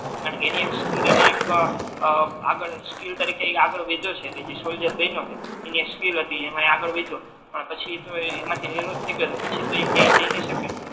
અને એની એક સ્કિલ અને એક આ ક આગળ સ્કિલ તરીકે એ આગળ વાઇધ્યો છે સોલ્જર બનિયો છે એની એક સ્કિલ હતી અને ઈ આગળ વાઇધ્યો અને પછી તો એ એમાથી નિવૃત થઈ ગયો પછી તો એ કાઈ જઈ નહી સકે